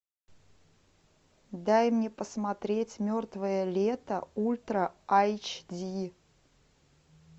дай мне посмотреть мертвое лето ультра айч ди